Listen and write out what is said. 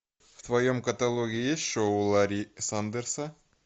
в твоем каталоге есть шоу ларри сандерса